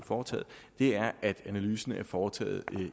foretaget er at analysen er foretaget